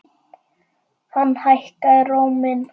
Hann hækkaði róminn.